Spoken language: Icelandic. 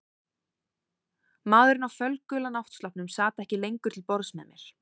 Maðurinn á fölgula náttsloppnum sat ekki lengur til borðs með mér.